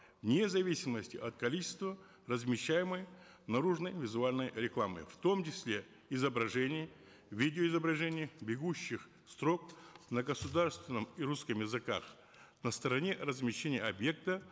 вне зависимости от количества размещаемой наружной визуальной рекламы в том числе изображений видеоизображений бегущих строк на государственном и русском языках на стороне размещения объекта